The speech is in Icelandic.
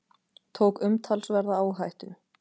Tók umtalsverða áhættu